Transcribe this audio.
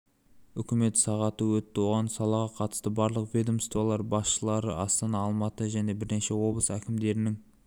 үкімет сағаты өтті оған салаға қатысты барлық ведомстволар басшылары астана алматы және бірнеше облыс әкімдерінің